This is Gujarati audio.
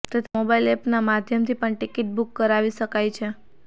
તથા મોબાઈલ એપના માધ્યમથી પણ ટિકિટ બુક કરાવી શકાય છે